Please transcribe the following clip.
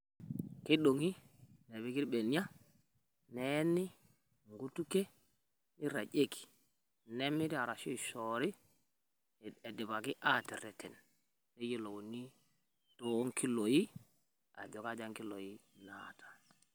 Kidong'i nepiki ilbenie neeni inkutukie neirragieki, nemiri arashu eishoori eidipaki aaterreten neyiolouni duo nkiloi ajo kaja nkiloi naata.